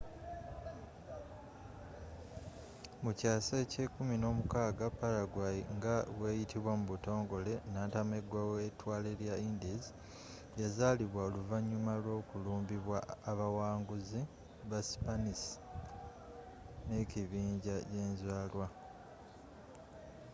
mukyaasa ekye 16 paraguay nga bweyitibwa mu butongole nantamegwa wetwale lya indies” yazalibwa oluvanyuma lw'okulumbibwa abawanguzi ba sipanisi nekibinja jenzalwa